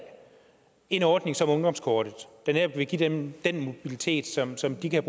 en ordning som ungdomskortet der netop vil give dem den mobilitet som som de kan